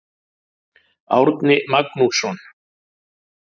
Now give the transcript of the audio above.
Árni Magnússon.